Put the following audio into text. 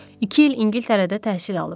İki il İngiltərədə təhsil alıb.